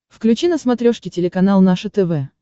включи на смотрешке телеканал наше тв